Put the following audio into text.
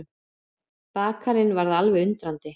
Bakarinn varð alveg undrandi.